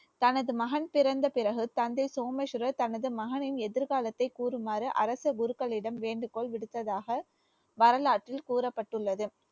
தனது மகன் பிறந்த பிறகு தந்தை சோமேஸ்வரர் தனது மகனின் எதிர்காலத்தை கூறுமாறு அரச குருக்களிடம் வேண்டுகோள் விடுத்ததாக வரலாற்றில் கூறப்பட்டுள்ளது